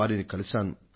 వారిని కలిశాను